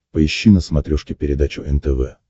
поищи на смотрешке передачу нтв